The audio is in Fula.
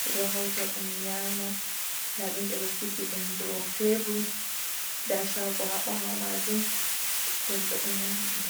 ɓedo hauta ɗum nyama, ɗadum ɓeɗo sigï ɗum ɗôu tebur ɗa shago ha bawo majum, hïmɓe ɗo nyama ɗum.